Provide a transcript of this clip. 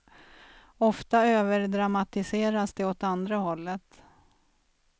Ofta överdramatiseras det åt andra hållet.